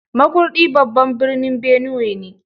Makurdi babban birnin Benue ne.